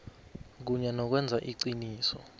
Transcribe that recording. kunye nokwenza iqiniso